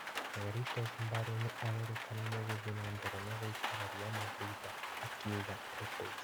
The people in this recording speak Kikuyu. Garitos Mbale nĩ arakena nĩ gũthiĩ nambere gũikara Ri Mandrinda, akiuga Lopez.